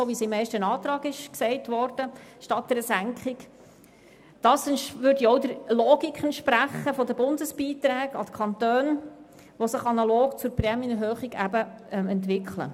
Das würde auch der Logik der Bundesbeiträge an die Kantone entsprechen, die sich analog zur Prämienerhöhung entwickeln.